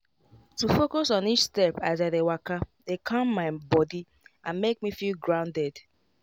to focus on each step as i dey waka dey calm my body and make me feel grounded.